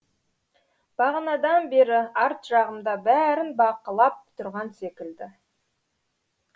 бағанадан бері арт жағымда бәрін бақылап тұрған секілді